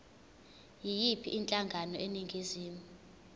yiyiphi inhlangano eningizimu